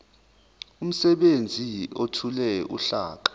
umsebenzi ethule uhlaka